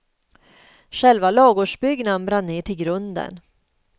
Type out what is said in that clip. Själva ladugårdsbyggnaden brann ner till grunden.